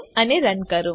save અને run